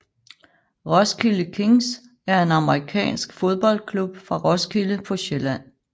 Roskilde Kings er en amerikansk fodboldklub fra Roskilde på Sjælland